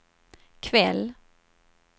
kväll